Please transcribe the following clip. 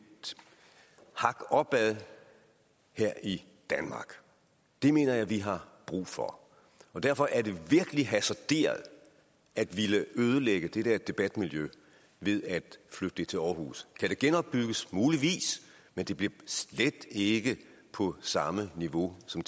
hak opad her i danmark det mener jeg vi har brug for derfor er det virkelig hasarderet at ville ødelægge det der debatmiljø ved at flytte det til aarhus kan det genopbygges muligvis men det bliver slet ikke på samme niveau som